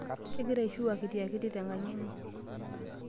Kegira ishiu akitiakiti tenkang' enye.